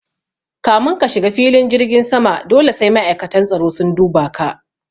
Kamin ka shiga filin jirgin sama dole sai ma'aikatan tsaro sun duba ka